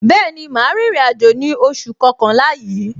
Bẹẹni, ma rin ìrìn àjò ní oṣù kọkànlá yìí.